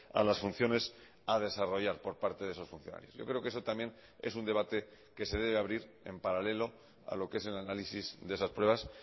a las funciones a desarrollar por parte de esos funcionarios yo creo que eso también es un debate que se debe abrir en paralelo a lo que es el análisis de esas pruebas